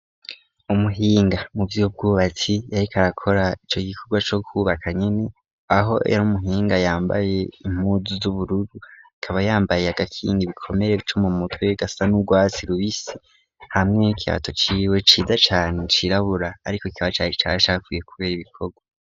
Umuhinga mu vy'ubwubatsi yarikarakora ico gikorwa co kwubaka nyene aho era umuhinga yambaye impuzu z'ubururu akaba yambaye agakingi bikomere co mu mutwewe gasa n'urwatsi luisi hamwey'ikihato ciwe cida cane cirabura, ariko ikiba care caha sakuye, kubera ibikorwa.